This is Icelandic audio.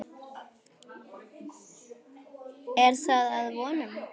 Er það að vonum.